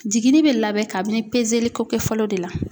Jiginni bɛ labɛn kabini kɛ ko fɔlɔ de la.